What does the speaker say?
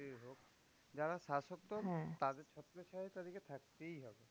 যারা শাসকদল তাদের ছত্রছায়ায় তাদেরকে থাকতেই হবে।